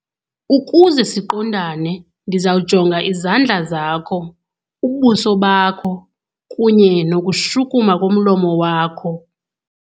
Ukuze siqondane ndizawujonga izandla zakho, ubuso bakho kunye nokushukuma komlomo wakho.